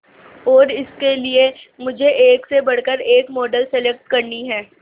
और इसके लिए मुझे एक से बढ़कर एक मॉडल सेलेक्ट करनी है